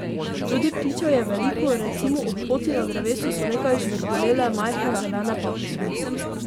Tudi ptičev je velko, recimo ob poti na drevesu so nekaj žvrgolele majhne zelene papige.